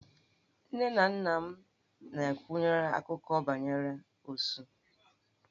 Nne na nna m nakweere akụkọ banyere Osu.